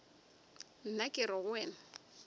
nna ke re go wena